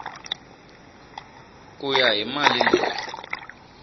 ku ya hi mali leyi